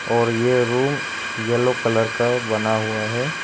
और ये room yellow colour का बना हुआ है।